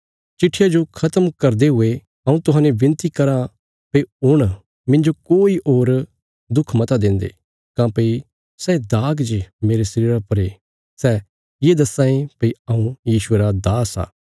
चिट्ठिया जो खत्म करदे हुये हऊँ तुहांजो विनती कराँ भई हुण मिन्जो कोई होर दुख मता देन्दे काँह्भई सै दाग जे मेरे शरीरा पर ये सै ये दस्सां ये भई हऊँ यीशुये रा दास आ